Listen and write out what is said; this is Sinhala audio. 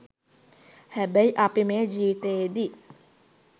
හැබැයි අපි මේ ජීවිතයේදී